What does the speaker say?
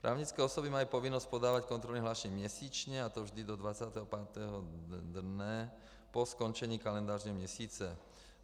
Právnické osoby mají povinnost podávat kontrolní hlášení měsíčně, a to vždy do 25. dne po skončení kalendářního měsíce.